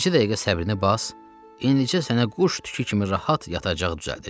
Bircə dəqiqə səbrini bas, indicə sənə quş tükü kimi rahat yataq düzəldəcəyəm.